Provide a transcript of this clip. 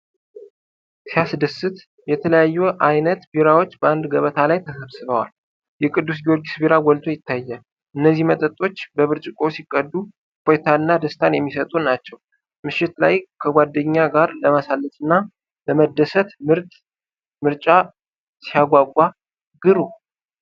ሲያስደስት! የተለያዩ አይነት ቢራዎች በአንድ ገበታ ላይ ተሰብስበዋል። የቅዱስ ጊዮርጊስ ቢራ ጎልቶ ይታያል። እነዚህ መጠጦች በብርጭቆ ሲቀዱ እፎይታንና ደስታን የሚሰጡ ናቸው። ምሽት ላይ ከጓደኛ ጋር ለማሳለፍ እና ለመደሰት ምርጥ ምርጫ! ሲያጓጓ ግሩም!